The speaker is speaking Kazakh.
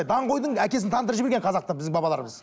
даңғойдың әкесін таңдырып жіберген қазақта біздің бабаларымыз